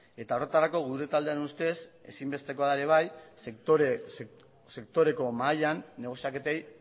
eta horretarako gure taldearen ustez ezinbesteko da ere bai sektoreko mahaian negoziaketei